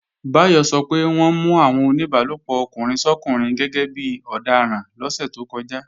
Báyọ̀ sọ pé wọ́n mú àwọn oníbálòpọ̀ ọkùnrin sọ́kùnrin gẹ́gẹ́bí ọdaràn lọ́sẹ̀ tó kọjá